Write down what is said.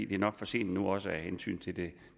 det er nok for sent nu også af hensyn til det